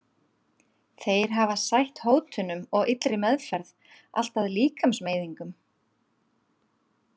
Þeir hafi sætt hótunum og illri meðferð, allt að líkamsmeiðingum.